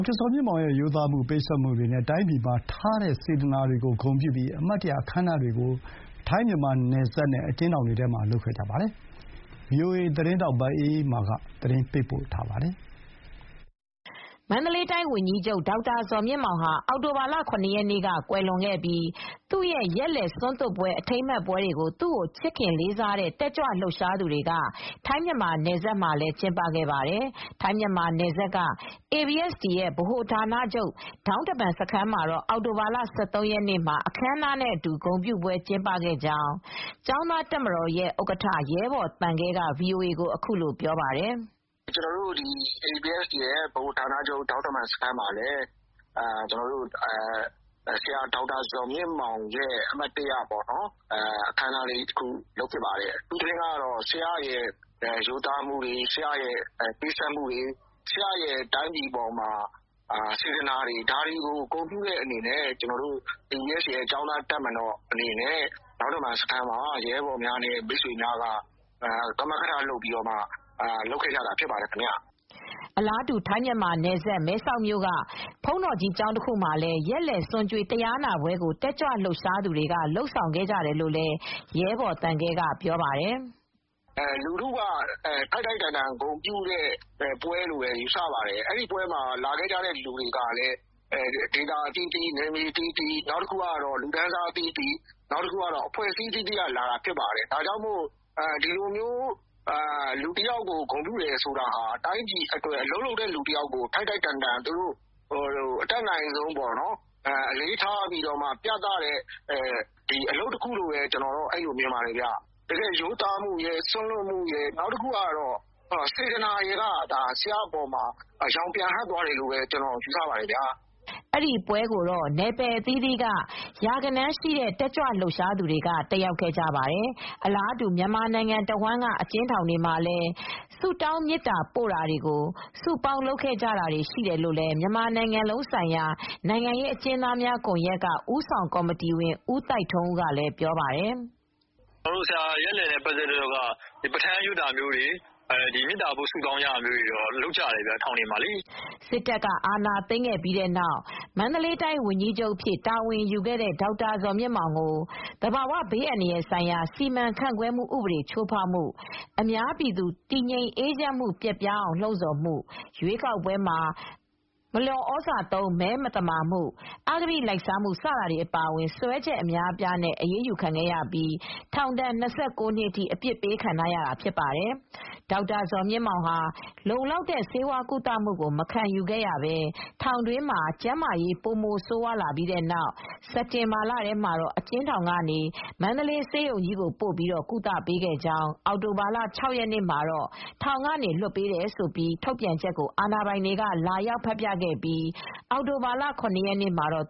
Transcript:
က်တာ ဇော်မြင့်မောင် ရဲ့ ရိုးသားမှု၊ ပေးဆပ်မှုတွေနဲ့ တိုင်းပြည်အပေါ်ထားတဲ့စေတနာတွေကိုဂုဏ်ပြုပြီး သူ့ရဲ့ရက်လည်နေ့မှာ အမှတ်တရအခမ်းအနားတွေကို ထိုင်း-မြန်မာနယ်စပ်မှာရော မြန်မာပြည်တွင်းက အကျဉ်းထောင်တွေ ထဲမှာပါ လုပ်ခဲ့ကြပါတယ်။ ဗွီအိုအေသတင်းထောက် မအေးအေးမာက သတင်းပေးပို့ထားပါတယ်။ မန္တလေးတိုင်းဝန်ကြီးချုပ် ဒေါက်တာဇော်မြင့်မောင်ဟာ အောက်တိုဘာလ ၇ ရက်နေ့က ကွယ်လွန်ခဲ့ပြီး သူ့အတွက်ရည်စူးတဲ့ ရက်လည်ဆွမ်းသွတ်ပွဲတွေ၊ အထိမ်းအမှတ်ပွဲတွေကို သူ့ကိုချစ်ခင်လေးစားတဲ့ တက်ကြွလှုပ်ရှားသူတွေက ထိုင်းမြန်မာနယ်စပ်မှာလည်း ကျင်းပခဲ့ကြပါတယ်။ ထိုင်း-မြန်မာနယ်စပ်က ABSDF ဗဟိုဌာနချုပ် ဒေါင်းတမန်စခန်းမှာတော့ အောက်တိုဘာလ ၁၃ ရက်နေ့မှာ အခမ်းအနားနဲ့အတူ ဂုဏ်ပြုပွဲကျင်းပခဲ့ကြောင်း ကျောင်းသားတပ်မတော်ရဲ့ဥက္ကဋ္ဌ ရဲဘော်သံခဲက VOA ကို အခုလိုပြောပါတယ်။ “ကျနော်တို့ ABSDF ဗဟိုဌာနချုပ်ဒေါင်းတမန်စခန်းမှာလည်း ဆရာဒေါက်တာ ဇော်မြင့်မောင်ရဲ့ အမှတ်တရအခမ်းအနားလေး လုပ်ဖြစ်ပါတယ်။ ဆရာရဲ့ ရိုးသားမှုတွေ၊ ဆရာရဲ့ပေးဆပ်မှုတွေ၊ ဆရာရဲ့တိုင်းပြည်ပေါ်မှာထားတဲ့စေတနာတွေကို ဂုဏ်ပြုတဲ့အနေနဲ့ ကျနော်တို့ ABSDF ကျောင်းသားတပ်မတော်အနေနဲ့ ကမကထ လုပ်ခဲ့ကြတာဖြစ်ပါတယ်။” အလားတူ ထိုင်း-မြန်မာနယ်စပ် မဲဆောက်မြို့ကဘုန်းတော်ကြီးကျောင်းတခုမှာလည်း ရက်လည် ဆွမ်းကျွေး တရားနာပွဲကို တက်ကြွလှုပ်ရှားသူတွေက လုပ်ဆောင်ခဲ့တယ်လို့လည်း ရဲဘော်သံခဲက ပြောပါတယ်။ “နောက်တခုကတော့ ထိုက်ထိုက်တန်တန် ဂုဏ်ပြုတဲ့ပွဲလို့လည်း ယူဆရပါတယ်။ အဲဒီပွဲမှာ လာခဲ့ကြတဲ့သူတွေက ဒေသအသီးသီး၊ နယ်မြေအသီးသီး၊ အဖွဲ့အစည်းအသီးသီးက လာခဲ့ကြတာ ဖြစ်ပါတယ်။ ဒီလိုမျိုးလူတယောက်ကို ဂုဏ်ပြုကြတယ်ဆိုတာကလည်း အလုပ်လုပ်တဲ့သူ တယောက်ကို ထိုက်ထိုက်တန်တန် ဂုဏ်ပြုပြသတဲ့အလုပ်တခုလည်းဖြစ်ပါတယ်။ ဆရာရဲ့ ရိုးသားမှု၊ စွန့်လွှတ်မှုတွေက ဆရာ့အပေါ် ရောင်ပြန်ဟပ်တယ်လို့လည်းယူဆပါတယ်။” အဲဒီပွဲကို နယ်ပယ်အသီးသီးက တက်ကြွလှုပ်ရှားသူ ရာဂဏန်းလောက် တက်ရောက်ခဲ့ကြပါတယ်။ အလားတူ မြန်မာနိုင်ငံတဝှမ်းကအကျဉ်းထောင်တွေမှာလည်း စုပေါင်းပြီး ဆုတောင်းမေတ္တာပို့ခဲ့ကြ တယ်လို့လည်း မြန်မာနိုင်ငံလုံးဆိုင်ရာနိုင်ငံရေးအကျဉ်းသားများကွန်ရက်က ဦးဆောင်ကော်မတီဝင် ဦးသိုက်ထွန်းဦးကလည်း ပြောပါတယ်။ “ဆရာရဲ့ရက်လည်မှာ ပဌာန်းရွတ်ဆိုတာတွေ၊ မေတ္တာပို့ဆုတောင်းတာတွေတော့ ထောင်တွေအသီးသီးမှာ လုပ်ကြပါတယ်။” စစ်တပ်က အာဏာသိမ်းခဲ့ပြီးနောက် မန္တလေးတိုင်းဝန်ကြီးချုပ်အဖြစ် တာဝန်ယူခဲ့တဲ့ ဒေါက်တာ ဇော်မြင့်မောင်ကို သဘာဝဘေးအန္တရာယ်ဆိုင်ရာစီမံခန့်ခွဲမှုဥပဒေ ချိုးဖောက်မှု၊ အများပြည်သူ တည်ငြိမ်အေးချမ်းမှု ပျက်ပြားအောင် လှုံ့ဆော်မှု၊ ရွေးကောက်ပွဲမှာ မလျော်သြဇာသုံး မဲမသမာမှု၊ အဂတိလိုက်စားမှု စတာတွေအပါအဝင် စွဲချက်အများအပြားနဲ့ အရေးယူခံခဲ့ရပြီး ထောင်ဒဏ် ၂၉ နှစ်အထိ အပြစ်ပေးခံထားရတာ ဖြစ်ပါတယ်။ ဒေါက်တာဇော်မြင့်မောင် ဟာ လုံလောက်တဲ့ ဆေးဝါးကုသမှု မခံယူခဲ့ရဘဲ ထောင်တွင်းမှာပဲ ကျန်းမာရေးပိုမိုဆိုးရွားလာပြီးနောက် စက်တင်ဘာလထဲ မှာ အကျဉ်းထောင်ကနေ မန္တလေးဆေးရုံကြီးကိုပို့ပြီး ကုသခွင့်ပေးခဲ့ပါတယ်။ အောက်တိုဘာလ ၆ ရက်နေ့မှာ “ထောင်မှ လွှတ်ပေးတယ်”ဆိုတဲ့ ထုတ်ပြန်ချက်ကို ဒေါက်တာဇော်မြင့်မောင်ဆေးကုသမှု ခံယူနေတဲ့ဆေးရုံမှာ အာဏာပိုင်တွေက လာရောက်ဖတ်ပြခဲ့ပြီးတဲ့နောက် အောက်တိုဘာလ ၇ ရက်နေ့မှာတော့